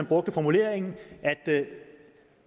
brugte formuleringen at